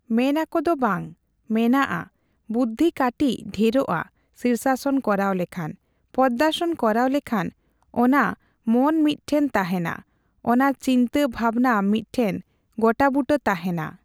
ᱢᱮᱱ ᱟᱠᱚ ᱫᱚ ᱵᱟᱝ, ᱢᱮᱱᱟᱜᱼᱟ᱾ ᱵᱩᱫᱽᱫᱷᱤ ᱠᱟᱴᱤᱪ ᱰᱷᱮᱨᱚᱜᱼᱟ ᱥᱤᱨᱥᱟᱥᱚᱱ ᱠᱚᱨᱟᱣ ᱞᱮᱠᱷᱟᱱ᱾ ᱯᱚᱫᱽᱫᱟᱥᱚᱱ ᱠᱚᱨᱟᱣ ᱞᱮᱠᱷᱟᱱ ᱚᱱᱟ ᱢᱚᱱ ᱢᱤᱫᱴᱷᱮᱱ ᱛᱟᱦᱮᱸᱱᱟ, ᱚᱱᱟ ᱪᱤᱱᱛᱟᱹ ᱵᱷᱟᱵᱱᱟ ᱢᱤᱫ ᱴᱷᱮᱱ ᱜᱚᱴᱟᱵᱩᱴᱟᱹ ᱛᱟᱦᱮᱸᱱᱟ᱾